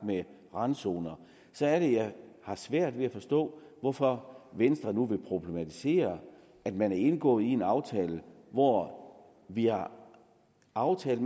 med randzoner så er det jeg har svært ved at forstå hvorfor venstre nu vil problematisere at man har indgået en aftale hvor vi har aftalt at